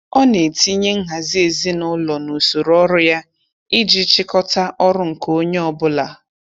Ọ na-etinye nhazi ezinaụlọ n'usoro ọrụ ya iji chịkọta ọrụ nke onye ọbụla.